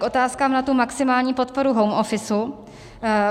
K otázkám na tu maximální podporu home office.